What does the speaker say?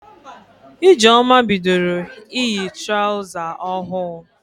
Ijeoma bidoro iyi traụza ohụụ.